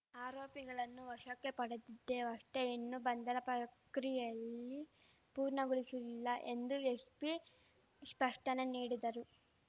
ಆರೋಪಿಗಳನ್ನು ವಶಕ್ಕೆ ಪಡೆದಿದ್ದೇವಷ್ಟೆ ಇನ್ನೂ ಬಂಧನ ಪ್ರಕ್ರಿಯೆಲ್ಲಿ ಪೂರ್ಣಗೊಳಿಶಿಲ್ಲ ಎಂದು ಎಶ್ಪಿ ಶ್ಪಷ್ಟನೆ ನೀಡಿದರು